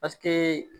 Paseke